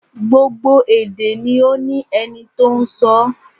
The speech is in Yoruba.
Gbogbo èdè ni ó ní ẹni tó n sọọ́